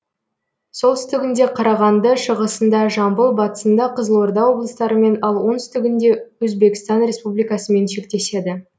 солтүстігінде қарағанды шығысында жамбыл батысында қызылорда облыстарымен ал оңтүстігінде өзбекстан республикасымен шектеседі